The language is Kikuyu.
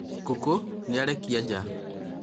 ngũkũ nĩĩrarekia ja